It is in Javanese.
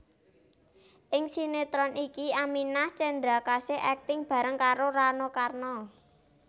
Ing sinétron iki Aminah Cendrakasih akting bareng karo Rano Karno